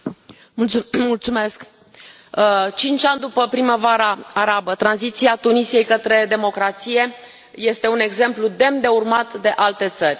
Domnule președinte, la cinci ani după Primăvara arabă, tranziția Tunisiei către democrație este un exemplu demn de urmat de alte țări.